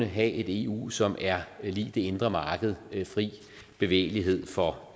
have et eu som er lig det indre marked fri bevægelighed for